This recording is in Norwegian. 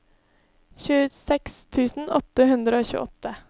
tjueseks tusen åtte hundre og tjueåtte